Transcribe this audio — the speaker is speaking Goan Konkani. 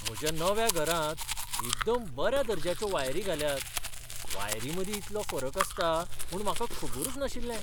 म्हज्या नव्या घरांत एकदम बऱ्या दर्ज्याचो वायरी घाल्यात. वायरीं मदीं इतलो फरक आसता म्हूण म्हाका खबरूच नाशिल्लें!